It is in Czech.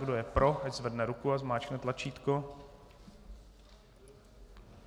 Kdo je pro, ať zvedne ruku a zmáčkne tlačítko.